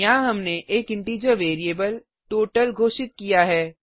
यहाँ हमने एक इंटिजर वेरिएबल टोटल घोषित किया है